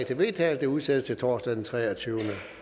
til vedtagelse udsættes til torsdag den treogtyvende